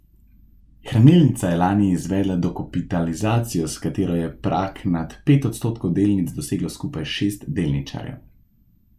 Hranilnica je lani izvedla dokapitalizacijo, s katero je prag nad pet odstotkov delnic doseglo skupaj šest delničarjev.